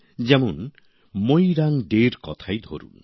যেমন মোইরাং ডের কথাই ধরুন